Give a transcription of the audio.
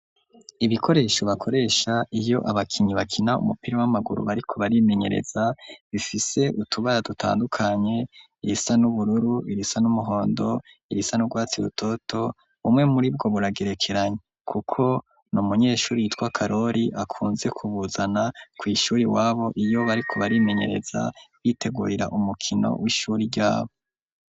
Ibikoresho, bakoresha, iyo abakinyi, bakina umupira, w'amaguru, bariko barimenyereza; bifise utubara, dutandukanye; irisa n'ubururu, irisa n'umuhondo, irisa n'urwatsi rutoto; bumwe muri bwo, buragerekeranye, kuko ni umunyeshuri, yitwa karori, akunze kubuzana, kw'ishuri iwabo, iyo bariko, barimenyereza, bitegurira umukino, w'ishuri ryabo.